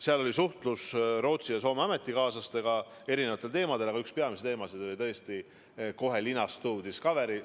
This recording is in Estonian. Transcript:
Seal oli suhtlus Rootsi ja Soome ametikaaslastega erinevatel teemadel, aga üks peamisi teemasid oli tõesti kohe linastuv Discovery film.